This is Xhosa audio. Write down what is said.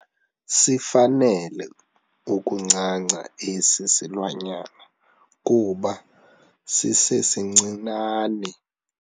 Sifanele ukuncanca esi silwanyana kuba sisesincinane.